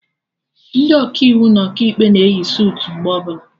Ndị Ọkaiwu na Ọkaikpe na eyi sutu mgbe ọbụla